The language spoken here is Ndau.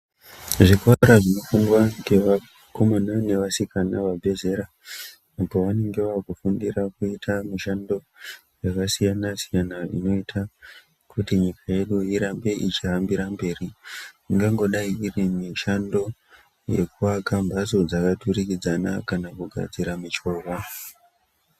Zvikora zvinofundwa ngevakomana nevasikana vabve zera pavanenga vava kufundira mishando yakasiyana siyana inoita kuti nyika yedu irambe ichihambira mberi, ingangodai iri mishando yekuaka mbatsoo dzakaturikidzana kana kugadzira michovhaa.